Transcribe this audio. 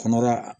Kɔnɔbara